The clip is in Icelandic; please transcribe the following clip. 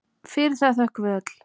Fyrir það þökkum við öll.